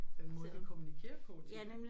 Den måde de kommunikerer på tit